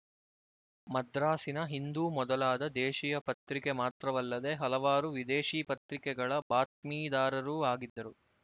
ಮದ್ರಾಸಿನ ಹಿಂದೂ ಮೊದಲಾದ ದೇಶೀಯ ಪತ್ರಿಕೆ ಮಾತ್ರವಲ್ಲದೆ ಹಲವಾರು ವಿದೇಶೀ ಪತ್ರಿಕೆಗಳ ಬಾತ್ಮೀದಾರರೂ ಆಗಿದ್ದರು